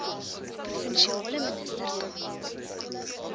provinsiale minister kan